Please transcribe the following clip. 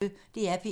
DR P1